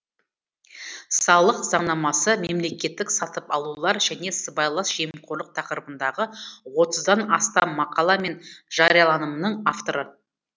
салық заңнамасы мемлекеттік сатып алулар және сыбайлас жемқорлық тақырыбындағы отыздан астам мақала мен жарияланымның авторы